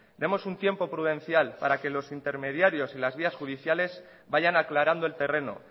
demos un tiempo prudencial para que los intermediarios y las vías judiciales vayan aclarando el terreno